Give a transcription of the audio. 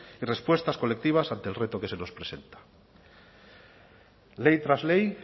y respuestas colectivas ante el reto que se nos presenta ley tras ley